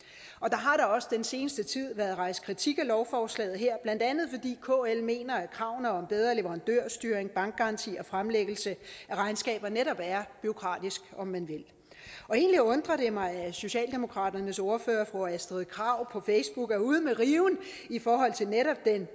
har da også den seneste tid været rejst kritik af lovforslaget her blandt andet fordi kl mener at kravene om bedre leverandørstyring bankgaranti og fremlæggelse af regnskaber netop er bureaukratisk om man vil egentlig undrer det mig at socialdemokraternes ordfører fru astrid krag på facebook er ude med riven i forhold til netop den